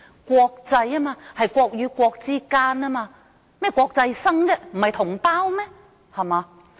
國際應該涉及國與國，大陸生為甚麼是國際生，不是同胞嗎？